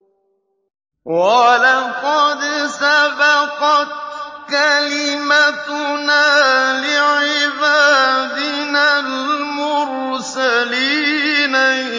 وَلَقَدْ سَبَقَتْ كَلِمَتُنَا لِعِبَادِنَا الْمُرْسَلِينَ